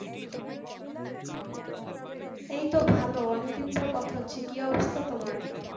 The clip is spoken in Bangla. এই তো ভালো অনেক দিন পর কথা হচ্ছে কি অবস্থা তোমার?